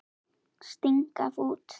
Sting gaf út.